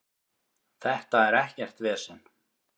Þetta er ekkert vesen.